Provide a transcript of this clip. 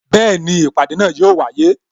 Bẹẹni, ìpàdé náà yo wáyé